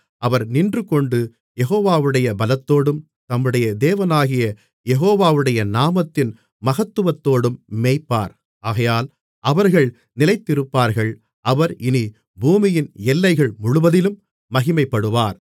அவர் நின்றுகொண்டு யெகோவாவுடைய பலத்தோடும் தம்முடைய தேவனாகிய யெகோவாவுடைய நாமத்தின் மகத்துவத்தோடும் மேய்ப்பார் ஆகையால் அவர்கள் நிலைத்திருப்பார்கள் அவர் இனி பூமியின் எல்லைகள் முழுவதிலும் மகிமைப்படுவார்